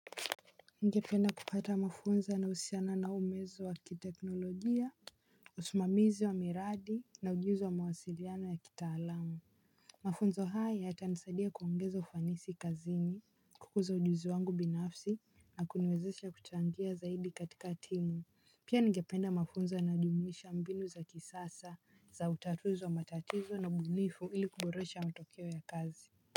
Ningependa kupata mafunza yanayohusiana na umezo wa kiteknolojia usimamizi wa miradi na ujuzi wa mawasiliano ya kitaalamu. Mafunzo haya yatanisadia kuongeza ufanisi kazini kukuza ujuzi wangu binafsi na kuniwezesha kuchangia zaidi katika timu. Pia ningependa mafunzo yanayojumuisha mbinu za kisasa za utatuzi wa matatizo na ubunifu ili kuboresha matokeo ya kazi.